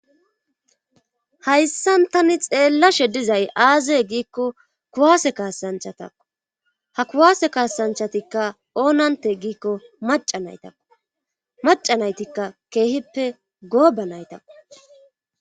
hayssan tani xeellashe dizay aaze giikko kuwaase kaasanchatakko ha kuwaase kaasanchatikka oonante giikko maca naytakko maca naytikka keehippe gooba naytako